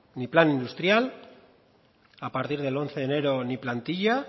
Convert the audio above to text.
ni plan industrial a partir del once de enero ni plantilla